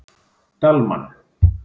Dalmann